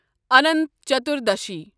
Anant Chaturdashi